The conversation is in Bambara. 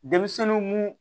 Denmisɛnnin mun